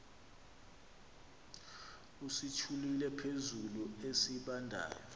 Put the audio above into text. usithule phezulu esibandayo